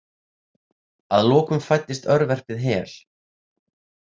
Að lokum fæddist örverpið Hel.